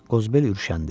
Qozbel ürüşəndi.